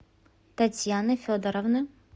татьяны федоровны